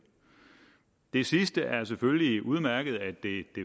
det sidste er selvfølgelig udmærket nemlig at det